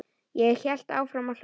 Ég hélt áfram að hlaupa.